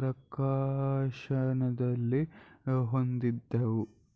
ಪ್ರಕಾಶನದಲ್ಲಿ ಹೊಂದಿದ್ದವು